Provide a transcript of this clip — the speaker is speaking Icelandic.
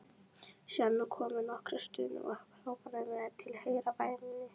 Síðan komu nokkrar stunur og upphrópanir með tilheyrandi væmni.